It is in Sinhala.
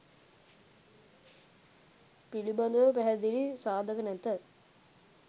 පිළිබඳව පැහැදිලි සාධක නැත.